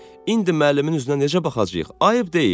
İndi müəllimin üzünə necə baxacaq? Ayıb deyil?